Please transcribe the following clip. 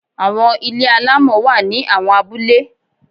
Àwọn ilé alámọ̀ wá ní àwọn abúlé.